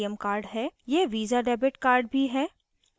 यह visa debit card भी है